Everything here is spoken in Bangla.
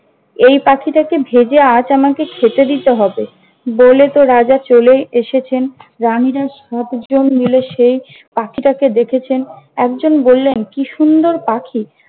এই পাখিটাকে ভেজে আজ আমাকে খেতে দিতে হবে। বলে তো রাজা চলেই এসেছেন। রানিরা সাত জন মিলে সেই পাখিটাকে দেখেছেন। একজন বললেন কি সুন্দর পাখি!